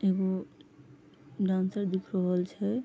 एगो डांसर दिख रहल छै।